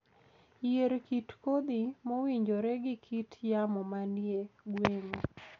Yier kit kodhi mowinjore gi kit yamo manie gweng'u